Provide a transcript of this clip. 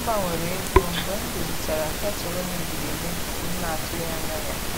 M gbanwere ego mgbe m dozichara ketụlụ mebiri emebi m na-atụghị anya ya.